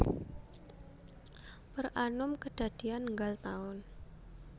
Per annum kedadian nggal taun